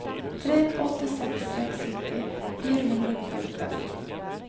tre åtte seks seks sytti fire hundre og nittiåtte